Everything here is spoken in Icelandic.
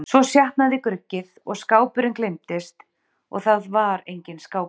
Svo sjatnaði gruggið og skápurinn gleymdist og það var enginn skápur.